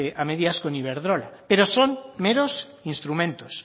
a medias con iberdrola pero son meros instrumentos